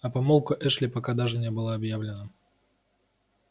а помолвка эшли пока даже не была объявлена